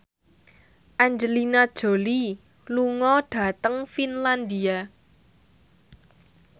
Angelina Jolie lunga dhateng Finlandia